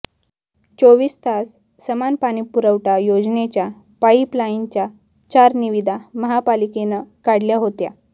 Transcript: चोवीस तास समान पाणीपुरवठा योजनेच्या पाईपलाईनच्या चार निविदा महापालिकेनं काढल्या होत्या